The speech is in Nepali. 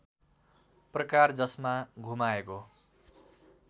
प्रकार जसमा घुमाएको